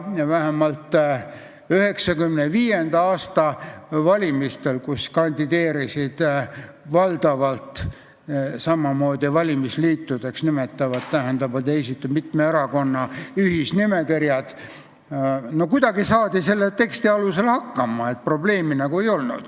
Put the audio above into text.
Vähemalt 1995. aasta valimistel, kus kandideerisid valdavalt samamoodi need, keda valimisliitudeks nimetati, st olid esitatud mitme erakonna ühisnimekirjad, saadi kuidagi selle teksti alusel hakkama, probleemi nagu ei olnud.